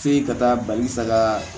F'i ka taa bali saga